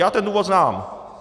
Já ten důvod znám.